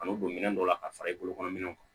Kan'o don minɛn dɔ la ka fara i bolokɔrɔ minɛnw kan